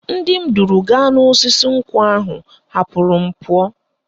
Ndị m duru gaa n'osisi nkwụ ahụ hapụrụ m pụọ